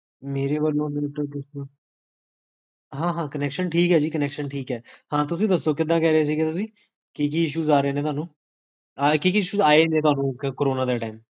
ਹਾਂ ਹਾਂ connection ਠੀਕ ਹੈ ਜੀ, connection ਠੀਕ ਹੈ ਹਾਂ ਤੁਸੀਂ ਦੱਸੋ ਕਿਦਾਂ ਕਹ ਰਹੇ ਸੀ ਤੁਸੀਂ? ਕੀ ਕੀ issues ਆ ਰਹੇ ਨੇ ਤੁਹਾਨੂ? ਹਾਂ ਕੀ ਕੀ issues ਆਏ ਨੇ ਤੁਹਾਨੂ ਕੋਰੋਨਾ time ਚ?